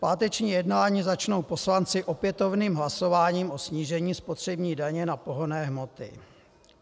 Páteční jednání začnou poslanci opětovným hlasováním o snížení spotřební daně na pohonné hmoty.